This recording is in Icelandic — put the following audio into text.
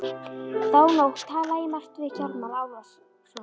Þá nótt talaði ég margt við Hjálmar Ólafsson.